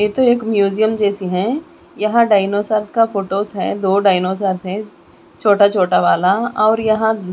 ये तो एक म्युजियम जैसी हैं यहां डायनासोरस का फोटोज है दो डायनासोरस हैं छोटा छोटा वाला और यहां--